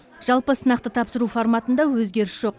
жалпы сынақты тапсыру форматында өзгеріс жоқ